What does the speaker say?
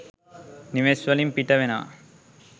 නිවෙස් වලින් පිට වෙනවා.